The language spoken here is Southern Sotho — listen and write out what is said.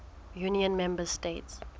union member states